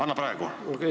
Anna praegu!